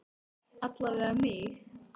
Alla vega mig.